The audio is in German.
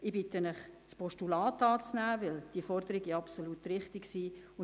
Ich bitte Sie, das Postulat anzunehmen, weil diese Forderungen absolut richtig sind.